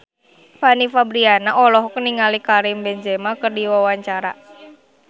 Fanny Fabriana olohok ningali Karim Benzema keur diwawancara